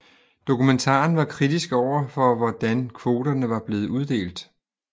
Dokumentaren var kritisk overfor hvordan kvoterne var blevet uddelt